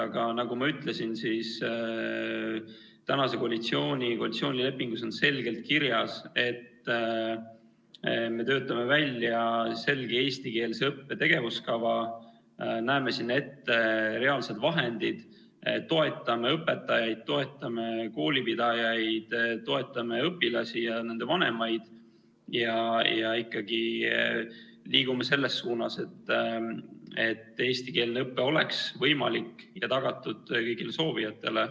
Aga nagu ma ütlesin, koalitsioonilepingus on selgelt kirjas, et me töötame välja eestikeelse õppe tegevuskava, näeme selleks ette reaalsed vahendid, toetame õpetajaid, toetame koolipidajaid, toetame õpilasi ja nende vanemaid ning liigume ikkagi selles suunas, et eestikeelne õpe oleks võimalik ja tagatud kõigile soovijatele.